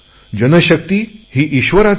जनशक्ति हे ईश्वराचे रुप